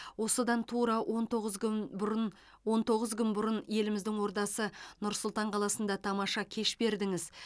осыдан тура он тоғыз күн бұрын он тоғыз күн бұрын еліміздің ордасы нұр сұлтан қаласында тамаша кеш бердіңіз